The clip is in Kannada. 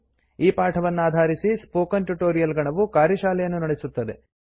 ಈ ಪಾಠವನ್ನಾಧಾರಿಸಿ ಸ್ಪೋಕನ್ ಟ್ಯುಟೊರಿಯಲ್ ಗಣವು ಕಾರ್ಯಶಾಲೆಯನ್ನು ನಡೆಸುತ್ತದೆ